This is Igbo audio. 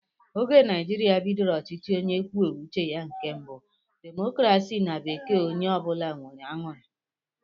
Oge Naijiria bidoro ọchịchị onye kwuo uche ya nke bú democracy na bekee onye ọbula nwèrè añụrị